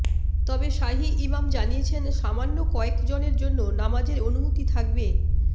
তবে শাহী ইমাম জানিয়েছেন সামান্য কয়েক জনের জন্য নামাজের অনুমতি থাকবে